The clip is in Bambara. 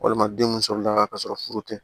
Walima denw sɔrɔla ka sɔrɔ furu tɛ